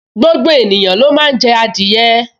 Gbogbo ènìyàn ló máa n jẹ adìẹ